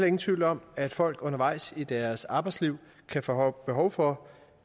ingen tvivl om at folk undervejs i deres arbejdsliv kan få behov for